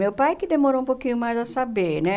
Meu pai que demorou um pouquinho mais a saber, né?